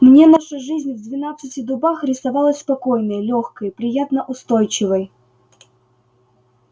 мне наша жизнь в двенадцати дубах рисовалась спокойной лёгкой приятно-устойчивой